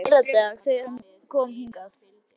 Í fyrradag, þegar hann kom hingað.